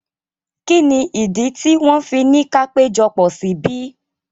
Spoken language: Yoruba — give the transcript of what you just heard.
Kí ni ìdí tí wọ́n fi ni ka péjọpọ̀ síbí?